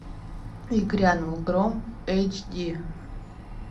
и грянул гром эйч ди